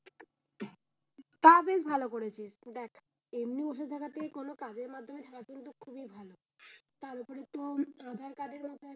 তা বেশ ভালোই করেছিস দেখ এমনি বসে থাকার থেকে কোনো কাজের মাধ্যমে থাকা কিন্তু খুব ভালো তার উপরে তো আধার কার্ড এর ব্যাপারে,